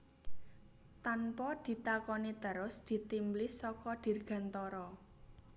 Tanpa ditakoni terus ditimblis saka dirgantara